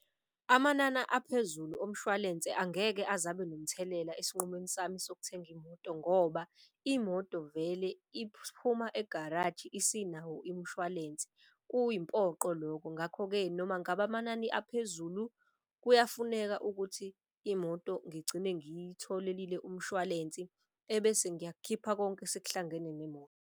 Amanana aphezulu omshwalense angeke azabe nomthelela esinqumeni sami sokuthenga imoto. Ngoba imoto vele iphuma egaraji isinawo imshwalense, kuyimpoqo loko. Ngakho-ke, noma ngabe amanani aphezulu kuyafuneka ukuthi imoto ngigcine ngiyitholelile umshwalensi ebese ngiyakukhipha konke sekuhlangene nemoto.